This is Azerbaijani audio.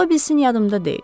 Ola bilsin yadımda deyil.